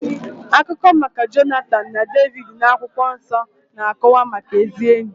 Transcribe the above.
Akụkọ maka Jonatan na Devid n'akwụkwọ nsọ na-akọwa maka ezi ényì.